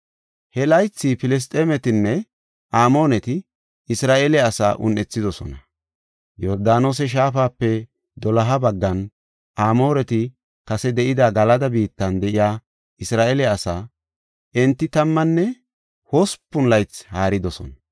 He laythi Filisxeemetinne Amooneti Isra7eele asaa un7ethidosona. Yordaanose shaafape doloha baggan, Amooreti kase de7ida Galada biittan de7iya Isra7eele asaa enti tammanne hospun laythi haaridosona.